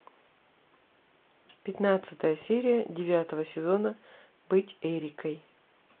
пятнадцатая серия девятого сезона быть эрикой